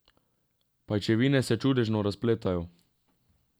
Pajčevine se čudežno razpletejo.